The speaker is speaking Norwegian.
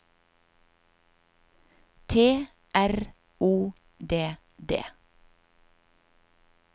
T R O D D